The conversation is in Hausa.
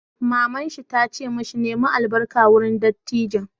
Mamar shi ta ce ma shi 'Nemi albarka wurin dattijan'!